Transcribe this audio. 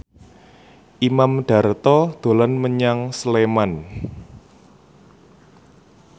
Imam Darto dolan menyang Sleman